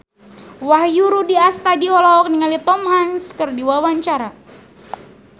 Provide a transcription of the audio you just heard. Wahyu Rudi Astadi olohok ningali Tom Hanks keur diwawancara